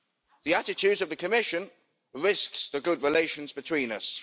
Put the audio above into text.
The attitude of the Commission risks the good relations between us.